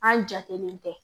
An jatelen tɛ